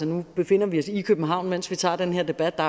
nu befinder vi os i københavn mens vi tager den her debat og